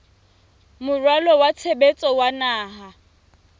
moralo wa tshebetso wa naha